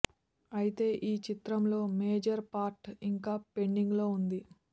అయితే ఈ చిత్రం లో మేజర్ పార్ట్ ఇంకా పెండింగ్ లో ఉంది